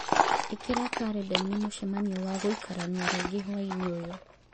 ĩkĩra karenda-inĩ mũcemanio wa gũikarania rĩngĩ hwaĩ-inĩ ũyũ